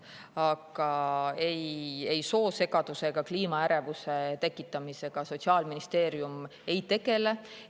Aga ei, soosegaduse ega kliimaärevuse tekitamisega Sotsiaalministeerium ei tegele.